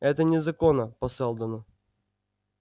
это незаконно по сэлдону